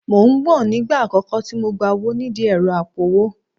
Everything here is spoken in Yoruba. Mò ń gbọ̀n nígbà àkọ́kọ́ tí mo gba owó nídìí ẹ̀rọ apowó